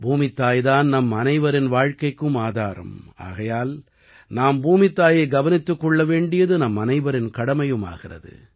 பூமித்தாய் தான் நம் அனைவரின் வாழ்க்கைக்கும் ஆதாரம் ஆகையால் நாம் பூமித்தாயைக் கவனித்துக் கொள்ள வேண்டியது நம் அனைவரின் கடமையும் ஆகிறது